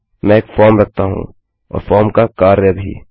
मैं एक फॉर्म रखता हूँ और फॉर्म का कार्य भी